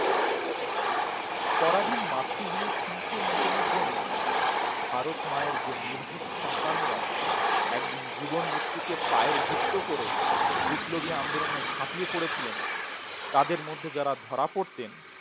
পরাধীন মাতৃভূমির শৃংখল মোচনের জন্য ভারত মায়ের যে নির্ভীক সন্তানেরা একদিন জীবন মৃত্যুকে পায়ের বৃত্ত করে বিপ্লবী আন্দোলনে ঝাঁপিয়ে পড়েছিলেন তাদের মধ্যে যারা ধরা পড়তেন